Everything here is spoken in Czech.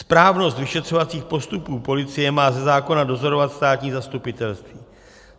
Správnost vyšetřovacích postupů policie má ze zákona dozorovat státní zastupitelství.